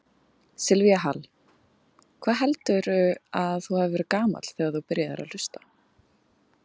Silvía Hall: Hvað heldurðu að þú hafi verið gamall þegar þú byrjaðir að hlusta?